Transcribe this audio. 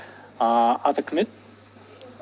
ааа аты кім еді